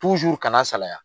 kana salaya.